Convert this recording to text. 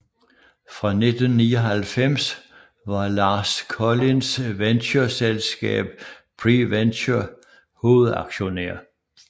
Fra 1999 var Lars Kolinds ventureselskab PreVenture hovedaktionær